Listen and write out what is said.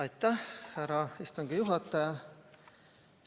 Aitäh, härra istungi juhataja!